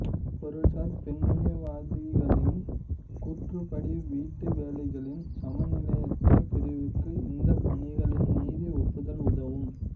பொருள்சார் பெண்ணியவாதிகளின் கூற்றுப்படி வீட்டு வேலைகளின் சமநிலையற்ற பிரிவுக்கு இந்த பணிகளின் நிதி ஒப்புதல் உதவும்